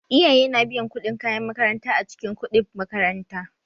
Iyaye na biyan kuɗin kayan makaranta a cikin kuɗib makaranta.